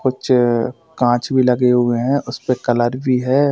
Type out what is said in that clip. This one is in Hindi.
कुछ कांच भी लगे हुए हैं उस पे कलर भी है।